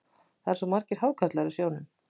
Það eru svo margir hákarlar í sjónum.